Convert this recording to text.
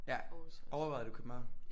Ja overvejede du København